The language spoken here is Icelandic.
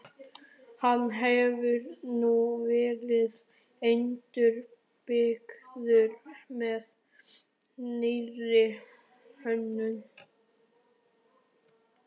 Hann hefur nú verið endurbyggður með nýrri hönnun.